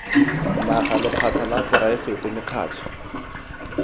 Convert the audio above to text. naga lephata la poraefete mekgatlho